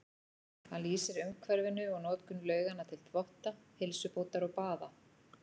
Hann lýsir umhverfinu og notkun lauganna til þvotta, heilsubótar og baða.